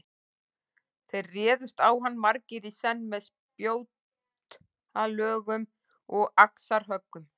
Þeir réðust á hann margir í senn með spjótalögum og axarhöggum.